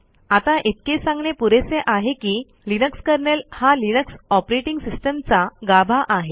आता इतके सांगणे पुरेसे आहे की लिनक्स कर्नेल हा लिनक्स ऑपरेटिंग सिस्टम चा गाभा आहे